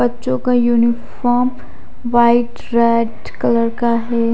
बच्चों का uniform white red colour का है।